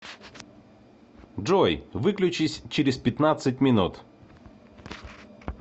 джой выключись через пятнадцать минут